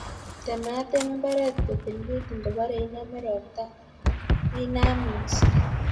Tematem mbaret kotililit ngobore inome ropta inam minset.